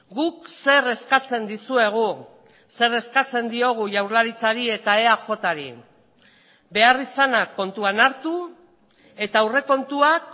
guk zer eskatzen dizuegu zer eskatzen diogu jaurlaritzari eta eajri beharrizana kontuan hartu eta aurrekontuak